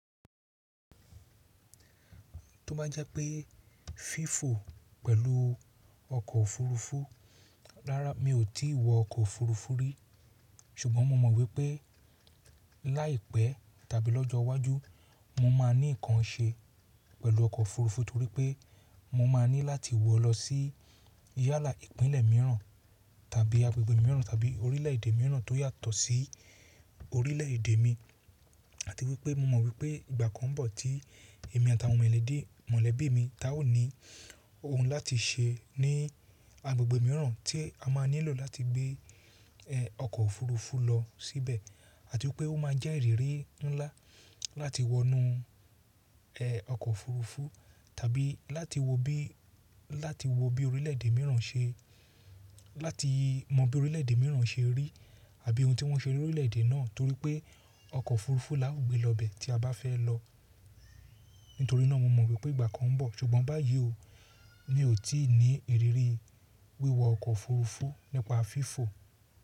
Tó bá jẹ́ pé fífò pẹ̀lú ọkọ̀ òfurufú, rárá mi ò tí ì wọ ọkọ̀ òfurufú rí ṣùgbọ́n mo mọ wípé láìpẹ́ tàbí lọ́jọ́ iwájú mo máa ní nǹkan ṣe pẹ̀lú ọkọ̀ òfurufú torípé mo máa ní láti wọ̀ lọ sí yálà ìpínlẹ̀ mìíràn tàbí agbègbè mìíràn tàbí orílẹ̀èdè mìíràn tó yàtọ̀ sí orílẹ̀èdè mi àti wípé mo mọ wípé ìgbà kan ń bọ̀ tí èmi àtàwọn mọ̀lẹ́bí mi ta ó ní ohun láti ṣe ní agbègbè mìíràn tí a máa nílò láti gbé, ọkọ̀ òfurufú lọ síbẹ̀ ati wipé ó máa jẹ́ ìrírí ńlá láti wọnú ọkọ̀ òfurufú tàbí láti wo bí, láti wo bí orílẹ̀èdè mìíràn ṣe, láti mọ bí orílẹ̀èdè mìíràn ṣe rí àbí ohun tí wọ́n ṣe lórílẹ̀èdè náà torípé ọkọ̀ òfurufú la ó gbé lọbẹ̀ tí a bá fẹ́ lọ. Nítorí náà mo mọ wípé ìgbà kan ń bọ̀ ṣùgbọ́n báyìí ò ní, ò tí ì ní ìrírí wíwọ ọkọ̀ òfurufú nípa fífò.